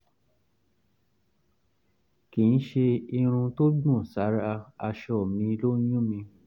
kì í ṣe irun tó gbọ̀n sára aṣọ mi ló ń yún mí